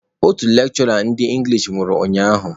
Otu lekshụra ndị engilish nwụrụ ụnyaahụ.